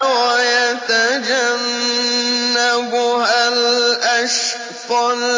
وَيَتَجَنَّبُهَا الْأَشْقَى